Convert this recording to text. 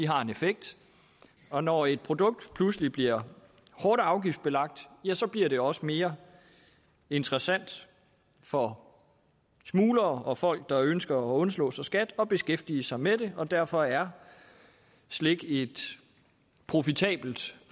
har en effekt og når et produkt pludselig bliver hårdt afgiftsbelagt bliver det også mere interessant for smuglere og folk der ønsker at undslå sig skat at beskæftige sig med det og derfor er slik et profitabelt